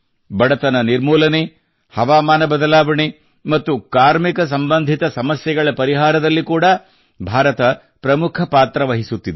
ಬಡತನ ನಿವಾರಣೆ ಹವಾಮಾನ ಬದಲಾವಣೆ ಮತ್ತು ಕಾರ್ಮಿಕ ಸಂಬಂಧಿತ ಸಮಸ್ಯೆಗಳ ಪರಿಹಾರದಲ್ಲಿ ಕೂಡಾ ಭಾರತ ಪ್ರಮುಖ ಪಾತ್ರ ವಹಿಸುತ್ತಿದೆ